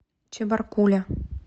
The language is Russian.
чебаркуля